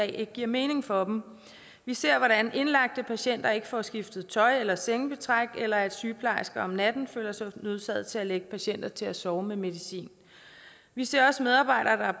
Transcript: ikke giver mening for dem vi ser hvordan indlagte patienter ikke får skiftet tøj eller sengebetræk eller at sygeplejersker om natten føler sig nødsaget til at lægge patienter til at sove med medicin vi ser også medarbejdere